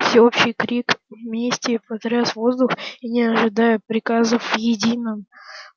всеобщий крик мести потряс воздух и не ожидая приказов в едином